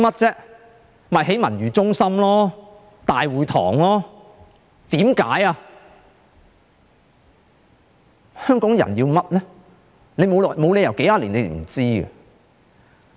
就是興建文娛中心和大會堂，香港人需要甚麼呢？